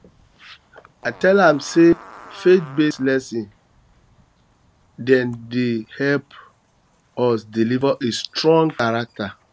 i tell am sey faithbased um lesson dem dey help um us us develop a strong character